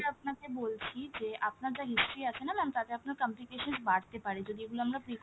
আপনাকে বলছি যে আপনার যা history আছে না ma'am তাতে আপনার complications বাড়তে পারে যদি এগুলো আমরা precautions